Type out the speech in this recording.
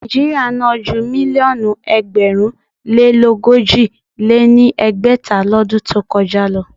Nàíjíríà ná ju mílíọ̀nù ẹgbẹ̀rún lé ogójì lé ní ẹgbẹ́ta lọdún tó kọjá lọ.